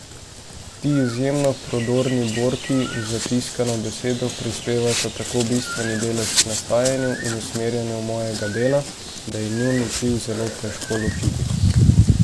Ti izjemno prodorni borki za tiskano besedo prispevata tako bistveni delež k nastajanju in usmerjanju mojega dela, da je njun vpliv zelo težko ločiti.